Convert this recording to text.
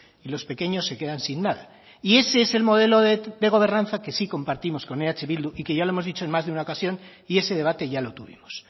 y los pequeños se quedan sin nada y ese es el modelo de gobernanza que sí compartimos con eh bildu y que ya lo hemos dicho en más de una ocasión y ese debate ya lo tuvimos